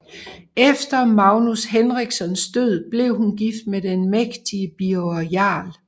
Efter Magnus Henrikssons død blev hun gift med den mægtige Birger jarl